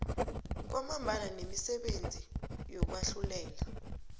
ngamabandla nemisebenzi yokwahlulela